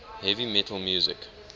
heavy metal music